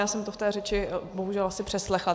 Já jsem to v té řeči bohužel asi přeslechla.